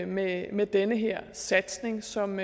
med med den her satsning som